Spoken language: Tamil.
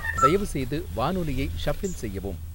தயவுசெய்து வானொலியை ஷஃபிள் செய்யவும்